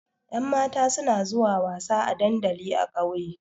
Ƴan mata suna zuwa wasa a dandali a ƙauye